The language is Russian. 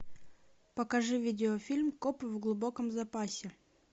покажи видеофильм копы в глубоком запасе